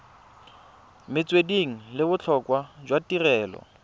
metswedi le botlhokwa jwa tirelo